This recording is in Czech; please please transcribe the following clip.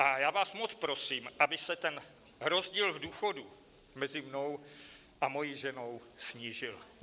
A já vás moc prosím, aby se ten rozdíl v důchodu mezi mnou a mojí ženou snížil.